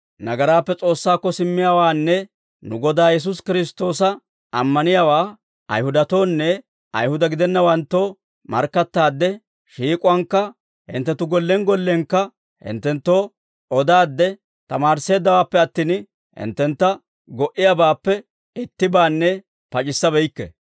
Nagaraappe S'oossaakko simmiyaawaanne nu Godaa Yesuusi Kiristtoosa ammaniyaawaa Ayihudatoonne Ayihuda gidennawanttoo markkattaadde, shiik'uwaankka hinttenttu gollen gollenkka hinttenttoo odaadde tamaarisseeddawaappe attin, hinttentta go"iyaabaappe ittibaanne pac'issa beykke.